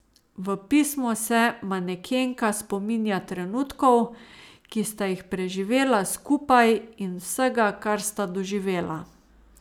V pismu se manekenka spominja trenutkov, ki sta jih preživela skupaj, in vsega, kar sta doživela.